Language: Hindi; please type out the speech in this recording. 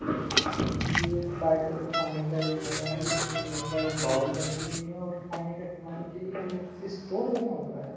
ये एक पार्टी का खाने का एरिया हैजिसमें बहुत सारी बाउल रखी हुई हैऔर खाने का सामान के लिए अलग से स्टोर बना हुआ है।